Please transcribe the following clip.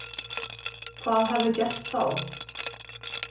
Hvað hefði gerst þá